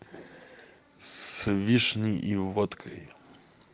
с вишней и водкой